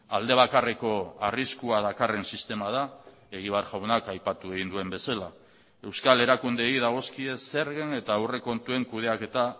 aldebakarreko arriskua dakarren sistema da egibar jaunak aipatu egin duen bezala euskal erakundeei dagozkie zergen eta aurrekontuen kudeaketa